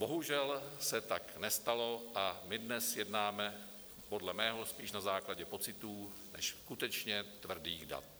Bohužel se tak nestalo a my dnes jednáme podle mého spíš na základě pocitů než skutečně tvrdých dat.